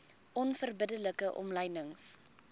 onverbidde like omlynings